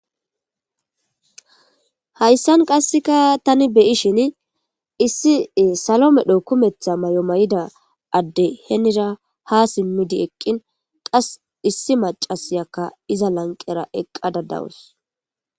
Hayssan qasseka tani beyishin issi salomedho kumetha mayomayida adde henira ha simmidi eqqin qas issi macasyakka iza lanqera eqqada dawus